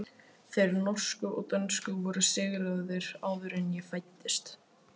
Þeir norsku og dönsku voru sigraðir áður en ég fæddist.